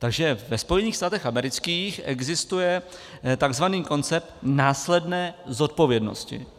Takže ve Spojených státech amerických existuje takzvaný koncept následné zodpovědnosti.